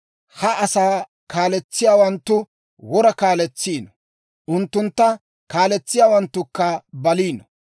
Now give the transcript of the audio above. Ha asaa kaaletsiyaawanttu, wora kaaletsiino; unttuntta kaalliyaawanttukka baliino.